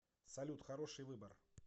салют хороший выбор